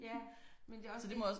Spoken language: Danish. Ja men det også det